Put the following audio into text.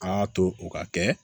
An y'a to o ka kɛ